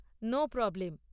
No problem.